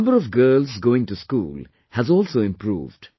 The number of girls going to school has also improved